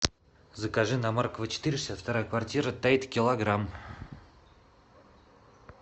закажи на маркова четыре шестьдесят вторая квартира тайд килограмм